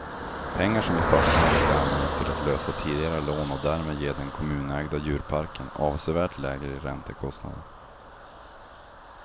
Pengar som i första hand ska användas till att lösa tidigare lån och därmed ge den kommunägda djurparken avsevärt lägre räntekostnader.